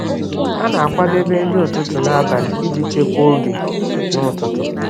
Ha na-akwadebe nri ụtụtụ n’abalị iji chekwaa oge n’ụtụtụ.